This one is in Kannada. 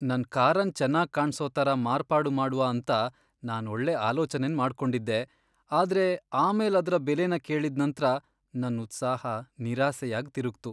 ನನ್ ಕಾರನ್ ಚೆನ್ನಾಗ್ ಕಾಣ್ಸೊ ತರ ಮಾರ್ಪಾಡು ಮಾಡ್ವ ಅಂತ ನಾನ್ ಒಳ್ಳೆ ಆಲೋಚನೆನ್ ಮಾಡ್ಕೊಂಡಿದ್ದೆ, ಆದ್ರೆ ಆಮೇಲ್ ಅದ್ರ ಬೆಲೆನ ಕೇಳಿದ್ ನಂತ್ರ, ನನ್ ಉತ್ಸಾಹ ನಿರಾಸೆಯಾಗ್ ತಿರುಗ್ತು.